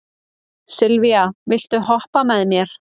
Sylvía, viltu hoppa með mér?